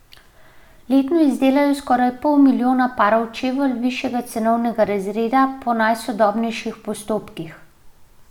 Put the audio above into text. Letno izdelajo skoraj pol milijona parov čevljev višjega cenovnega razreda po najsodobnejših postopkih.